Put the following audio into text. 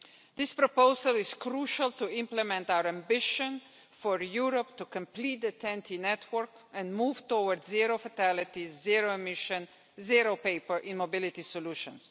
This proposal is crucial to implement our ambition for Europe to complete the TEN T network and move towards zero-fatality, zero-emission, zero-paper immobility solutions.